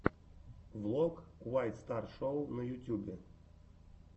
влог уайт стар шоу на ютюбе